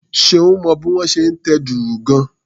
Ṣeun mọ bí wón ṣe ń tẹ dùrù gan-an.